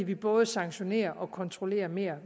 vi både sanktionerer mere og kontrollerer mere